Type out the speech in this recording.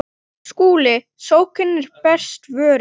SKÚLI: Sókn er besta vörnin.